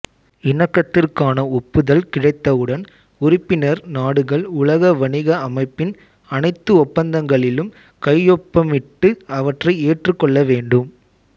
இணக்கத்திற்கான ஒப்புதல் கிடைத்தவுடன் உறுப்பினர் நாடுகள் உலக வணிக அமைப்பின் அனைத்து ஒப்பந்தங்களிலும் கையொப்பமிட்டு அவற்றை ஏற்றுக்கொள்ள வேண்டும்